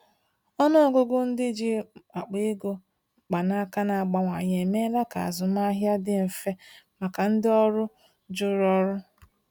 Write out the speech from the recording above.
Ọnụ ọgụgụ ndị ji akpa ego mkpanaka na-abawanye emeela ka azụmahịa dị mfe maka ndị ọrụ juru ọrụ.